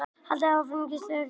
Haldið í gíslingu í kirkju